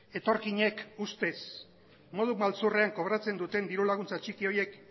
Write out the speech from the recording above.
etorkinek ustez modu maltzurrean kobratzen duten diru laguntza txiki horiek